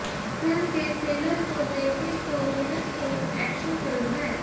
film के trailer को देखें तो यह एक एक्शन फिल्म है